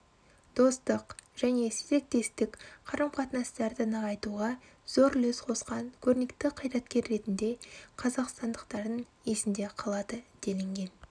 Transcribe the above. достық және серіктестік қарым-қатынастарды нығайтуға зор үлес қосқан көрнекті қайраткер ретінде қазақстандықтардың есінде қалады делінген